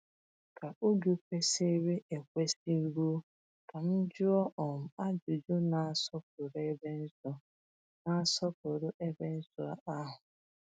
Echeere m ka oge kwesịrị ekwesị ruo ka m jụọ um ajụjụ, na-asọpụrụ ebe nsọ na-asọpụrụ ebe nsọ ahụ.